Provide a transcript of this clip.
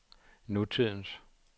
nutidens